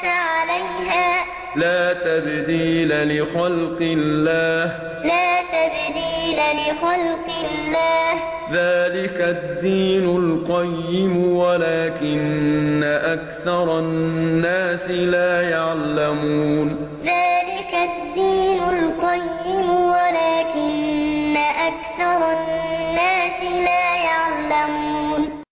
عَلَيْهَا ۚ لَا تَبْدِيلَ لِخَلْقِ اللَّهِ ۚ ذَٰلِكَ الدِّينُ الْقَيِّمُ وَلَٰكِنَّ أَكْثَرَ النَّاسِ لَا يَعْلَمُونَ فَأَقِمْ وَجْهَكَ لِلدِّينِ حَنِيفًا ۚ فِطْرَتَ اللَّهِ الَّتِي فَطَرَ النَّاسَ عَلَيْهَا ۚ لَا تَبْدِيلَ لِخَلْقِ اللَّهِ ۚ ذَٰلِكَ الدِّينُ الْقَيِّمُ وَلَٰكِنَّ أَكْثَرَ النَّاسِ لَا يَعْلَمُونَ